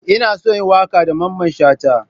Ina so in yi waka da mamman Shata.